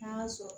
N'a y'a sɔrɔ